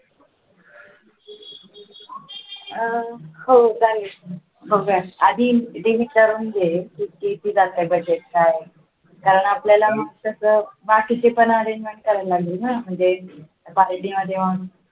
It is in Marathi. हो चालेल बघ हा आधी विचारून घे किती जाते budget काय आपल्याला म्हटलं तर बाकीचे पण आले पाहिजे ना म्हणजे party मध्ये